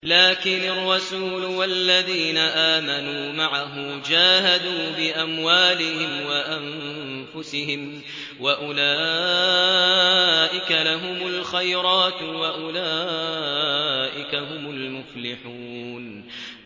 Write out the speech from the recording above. لَٰكِنِ الرَّسُولُ وَالَّذِينَ آمَنُوا مَعَهُ جَاهَدُوا بِأَمْوَالِهِمْ وَأَنفُسِهِمْ ۚ وَأُولَٰئِكَ لَهُمُ الْخَيْرَاتُ ۖ وَأُولَٰئِكَ هُمُ الْمُفْلِحُونَ